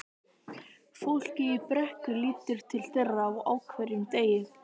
Fólkið í Brekku lítur til þeirra á hverjum degi.